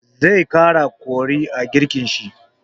Zai ƙara kori a girkin shi.